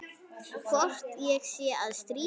Hvort ég sé að stríða.